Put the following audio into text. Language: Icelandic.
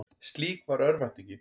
Slík var örvæntingin.